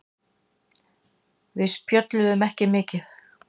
Við spjölluðum ekki mikið.